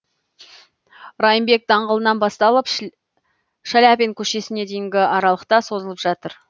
райымбек даңғылынан басталып шаляпин көшесіне дейінгі аралықта созылып жатыр